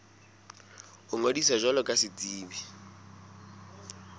ho ngodisa jwalo ka setsebi